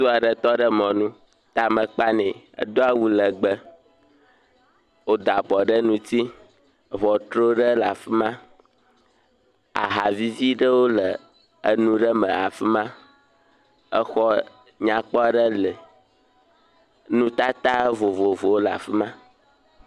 Ŋutsu aɖe tɔ ɖe mɔnu. Tame kpa nɛ. Edo awu legbe. Wota avɔ ɖe ŋuti. Ŋɔtru ɖe le afi ma. Ahavivi ɖewo le enu ɖe me le afi ma. Exɔ nyakpɔ aɖe li. Nutata vovovowo le afi ma.